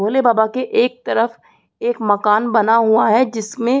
भोले बाबा के एक तरफ एक मकान बना हुआ है जिसमे --